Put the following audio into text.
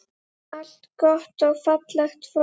Allt gott og fallegt fólk.